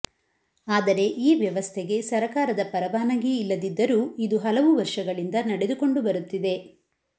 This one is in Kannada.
ಆದರೆ ಈ ವ್ಯವಸ್ಥೆಗೆ ಸರಕಾರದ ಪರವಾನಗಿ ಇಲ್ಲದಿದ್ದರೂ ಇದು ಹಲವು ವರ್ಷಗಳಿಂದ ನಡೆದುಕೊಂಡು ಬರುತ್ತಿದೆ